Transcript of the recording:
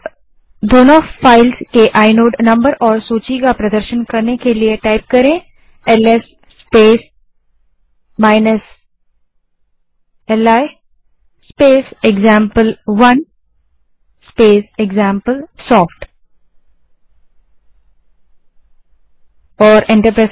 अब दोनों फाइल्स के आइनोड नंबर और सूची का प्रदर्शन करने के लिए LS space li space example one space example soft command type करें